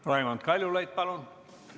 Raimond Kaljulaid, palun!